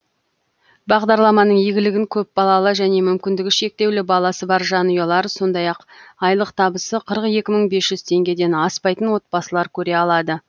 бағдарламаның игілігін көпбалалы және мүмкіндігі шектеулі баласы бар жанұялар сондай ақ айлық табысы қырық екі мың бес жүз теңгеден аспайтын отбасылар көре алады